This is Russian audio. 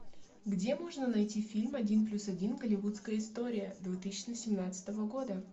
где можно найти фильм один плюс один голливудская история две тысячи семнадцатого года